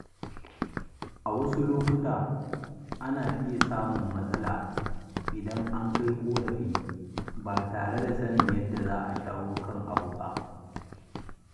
A wasu lokuta, ana iya samun matsala idan an kai ƙorafi ba tare da sanin yadda za a shawo kan abun ba.